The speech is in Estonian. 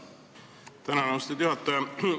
Tänan, austatud juhataja!